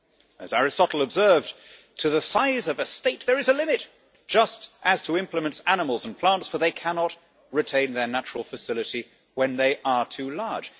As Aristotle observed, to the size of a state there is a limit, just as to implements, animals and plants, for they cannot retain their natural facility when they are too large.